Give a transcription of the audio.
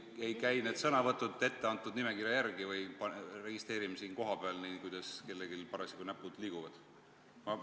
Kas enam ei käi need küsimused etteantud nimekirja järgi ja me registreerime need siin kohapeal, nii kuidas kellelgi parasjagu näpud liiguvad?